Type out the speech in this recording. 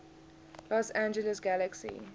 los angeles galaxy